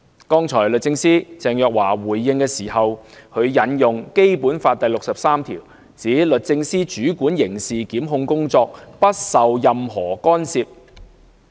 剛才律政司司長鄭若驊回應時，引用《基本法》第六十三條，指律政司主管刑事檢控工作，不受任何干涉。